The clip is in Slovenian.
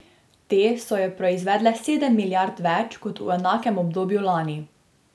Te so jo proizvedle sedem milijard več kot v enakem obdobju lani.